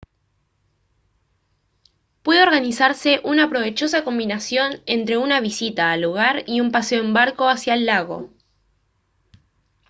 puede organizarse una provechosa combinación entre una visita al lugar y un paseo en barco hacia el lago